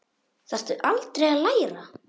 Þarftu aldrei að læra?